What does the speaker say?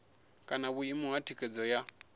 kana vhuimo ha thikhedzo ya